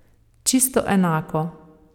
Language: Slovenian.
Čisto enako.